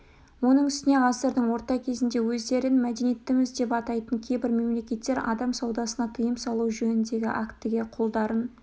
оның үстіне ғасырдың орта кезінде өздерін мәдениеттіміз деп атайтын кейбір мемлекеттер адам саудасына тыйым салу жөніндегі актіге қолдарын